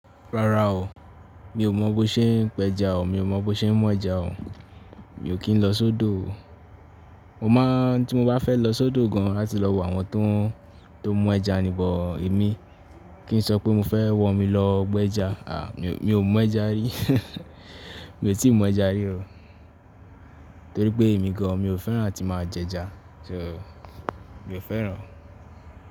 Rárá o, mi ò mọ̀ bó ṣe ń pẹja o, mi ò mọ̀ bó ṣe ń mú ẹja o, mi ò kí ń lọ sódò o. Mo máa tí mo bá fẹ́ lọ sódò gan láti lọ wo àwọn tó ń mú ẹja nì bọ̀, èmi kí n sọ pé mo fẹ́ wọ mí lọ pẹ ẹja. À, mi ò mú ẹja rí. Mi ò tí ì mú ẹja rí o, torí pé èmi gan mi ò fẹ́ràn àti máa jẹ ẹja, so mi ò fẹ́ràn.